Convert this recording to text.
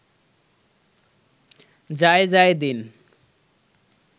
Jaijaidin